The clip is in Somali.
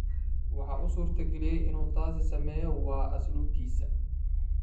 Waxa u suurtageliyay in uu taas sameeyo waa asluubtiisa.